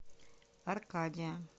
аркадия